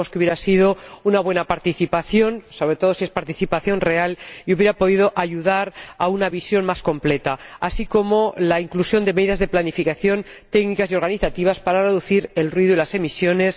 Creemos que hubiera sido una buena participación, sobre todo si es una participación real, y que hubiera podido ayudar a una visión más completa, al igual que la inclusión de medidas de planificación técnicas y organizativas para reducir el ruido y las emisiones.